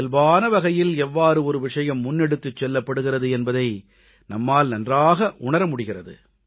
இயல்பான வகையில் எவ்வாறு ஒரு விஷயம் முன்னெடுத்துச் செல்லப்படுகிறது என்பதை நம்மால் நன்றாக உணர முடிகிறது